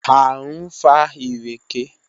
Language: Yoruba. A ń fa ìrèké